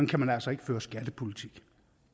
kan man altså ikke føre skattepolitik